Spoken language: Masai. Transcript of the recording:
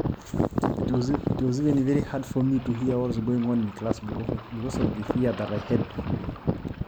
kegol ninye paaning' enagira alo dukuya tedarasa tenkaraki kaurisho